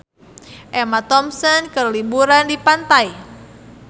Emma Thompson keur liburan di pantai